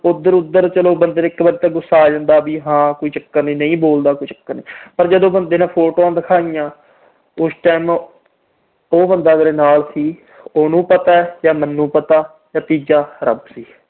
ਉਧਰ-ਉਧਰ ਬੰਦੇ ਨੂੰ ਇਕ ਵਾਰ ਤਾਂ ਗੁੱਸਾ ਆ ਜਾਂਦਾ ਕੋਈ ਚੱਕਰ ਨੀ। ਵੀ ਹਾਂ ਨਹੀਂ ਬੋਲਦਾ ਕੋਈ ਚੱਕਰ ਨੀ। ਪਰ ਜਦੋਂ photos ਦਿਖਾਈਆਂ, ਉਸ time ਉਹ ਬੰਦਾ ਮੇਰੇ ਨਾਲ ਸੀ। ਉਹਨੂੰ ਪਤਾ ਜਾਂ ਮੈਨੂੰ ਪਤਾ ਜਾਂ ਤੀਜਾ ਰੱਬ ਸੀ।